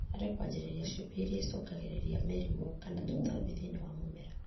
harĩ kwanjĩrĩria ciũmbe iria ĩcũngagĩrĩria mĩrimũ kana tũtambi thĩinĩ wa mũmera